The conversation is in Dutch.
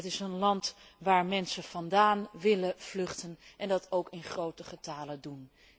Het is een land waar mensen vandaan willen vluchten en dat ook in groten getale doen.